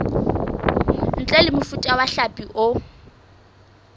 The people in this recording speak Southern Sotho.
ntle mofuta wa hlapi o